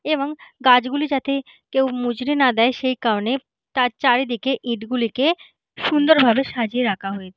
এবং গাছ গুলো যাতে কেউ মুচড়ে না দেয় সেই কারণে তার চারিদিকে ইট গুলিকে সুন্দর ভাবে সাজিয়ে রাখা হয়েছ--